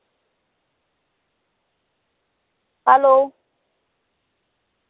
hello